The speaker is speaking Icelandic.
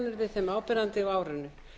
þeim áberandi á árinu